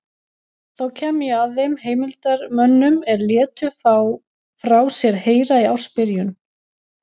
Þá kem ég að þeim heimildarmönnum er létu frá sér heyra í ársbyrjun